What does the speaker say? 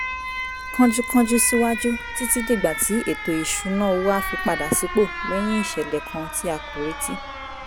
kánjúkánjú síwájú títí dìgbà tí ètò ìṣúnná owó á fi padà sípò lẹ́yìn ìṣẹ̀lẹ̀ kan tí a kò retí